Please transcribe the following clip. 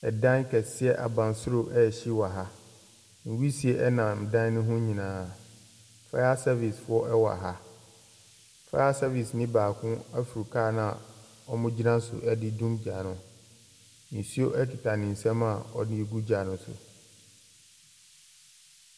Ɛdan kɛseɛ, abansoro ɛhyee ɛwɔ ha. Wisie ɛnam dan no ho nyinaa. Faya sɛvis foɔ ɛwɔ ha. Faya sɛvis ne baako aforo kaa no a ɔmo gyina so ɛde dum gya no. Nsuo ekita ne nsam a ɔde gu gya ne so.